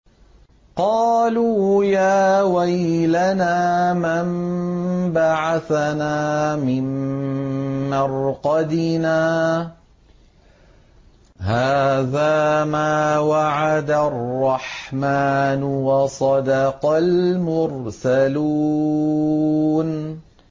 قَالُوا يَا وَيْلَنَا مَن بَعَثَنَا مِن مَّرْقَدِنَا ۜۗ هَٰذَا مَا وَعَدَ الرَّحْمَٰنُ وَصَدَقَ الْمُرْسَلُونَ